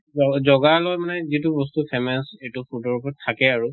জ জগাৰ লগত মানে যিটো বস্তু famous এইটো টো থাকে আৰু